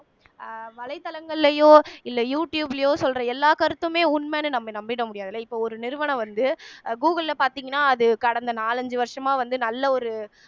அஹ் வலைத்தளங்கள்லயோ இல்ல யூ ட்யூப்லயோ சொல்ற எல்லா கருத்துமே உண்மைன்னு நம்ம நம்பிட முடியாதுல்ல இப்ப ஒரு நிறுவனம் வந்து கூகுள்ல பார்த்தீங்கன்னா அது கடந்த நாலஞ்சு வருஷமா வந்து நல்ல ஒரு